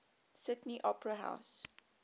sydney opera house